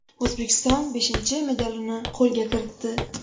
O‘zbekiston beshinchi medalini qo‘lga kiritdi.